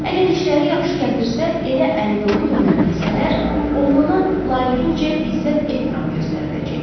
Əgər işləri yaxşı gətirsə, evə əli dolu dönə bilsələr, oğlana layiqincə izzət, ehtiram göstəriləcək.